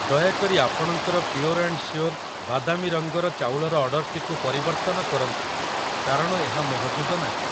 ଦୟାକରି ଆପଣଙ୍କର pure and sure ବାଦାମୀ ରଙ୍ଗର ଚାଉଳ ର ଅର୍ଡ଼ର୍‌‌ଟିକୁ ପରିବର୍ତ୍ତନ କରନ୍ତୁ କାରଣ ଏହା ମହଜୁଦ ନାହିଁ ।